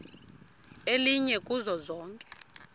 elinye kuzo zonke